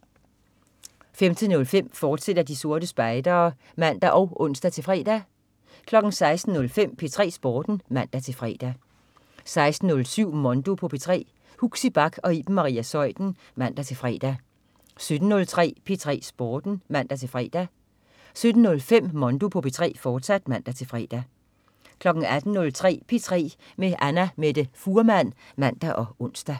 15.05 De Sorte Spejdere, fortsat (man og ons-fre) 16.05 P3 Sporten (man-fre) 16.07 Mondo på P3. Huxi Bach og Iben Maria Zeuthen (man-fre) 17.03 P3 Sporten (man-fre) 17.05 Mondo på P3, fortsat (man-fre) 18.03 P3 med Annamette Fuhrmann (man og ons)